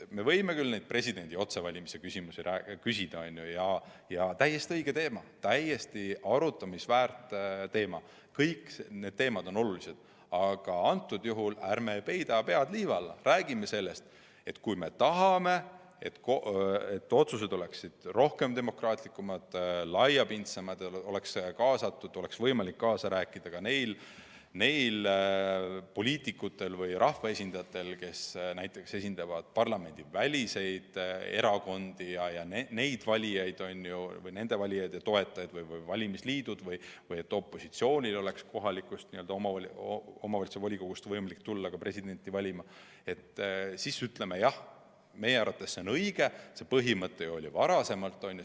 Me võime küll presidendi otsevalimise küsimusi küsida – see on täiesti õige teema, täiesti arutamist väärt teema, kõik need teemad on olulised –, aga ärme peidame pead liiva alla, vaid räägime sellest, et kui me tahame, et otsused oleksid demokraatlikumad ja laiapindsemad, nende tegemisel oleks võimalik kaasa rääkida ka neil poliitikutel või rahvaesindajatel, kes esindavad näiteks parlamendiväliseid erakondi ja nende valijaid ja toetajaid, või valimisliitudel või et ka opositsioonil oleks võimalik kohaliku omavalitsuse volikogust tulla presidenti valima, siis ütleme jah, meie arvates on õige see põhimõte, mis oli varem, on ju.